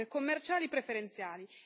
commerciali preferenziali.